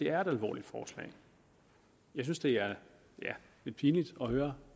er et alvorligt forslag jeg synes det er lidt pinligt at høre